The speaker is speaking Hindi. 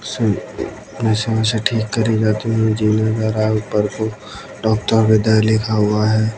मशीनों से ठीक करी जाती है जीना धरा है ऊपर को डॉक्टर हृदय लिखा हुआ है।